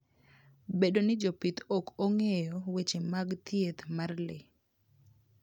Bedo ni jopith ok ong'eyo weche mag thieth mar le.